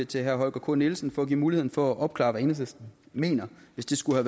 til herre holger k nielsen for at give muligheden for at opklare hvad enhedslisten mener hvis det skulle